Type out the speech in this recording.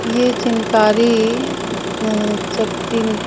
ये चिनकारी स शक्तिन--